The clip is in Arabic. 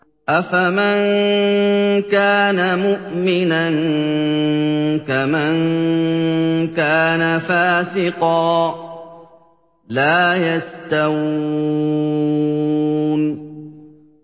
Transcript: أَفَمَن كَانَ مُؤْمِنًا كَمَن كَانَ فَاسِقًا ۚ لَّا يَسْتَوُونَ